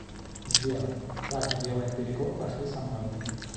сбер так делаем перекур пошли со мной